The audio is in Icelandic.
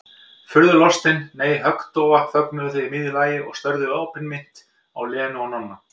Furðulostin, nei, höggdofa þögnuðu þau í miðju lagi og störðu opinmynnt á Lenu og Nonna.